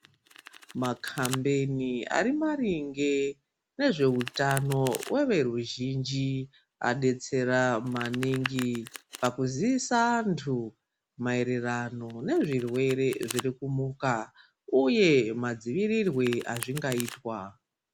Makhambeni ari maringe nezveutano everuzhinji adetsera maningi pakuziisa anthu maererano nezvirwere zviri kunyuka uye madzivirirwe azvingaitwa.